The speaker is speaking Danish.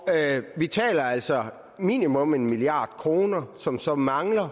vi taler altså om minimum en milliard kr som så mangler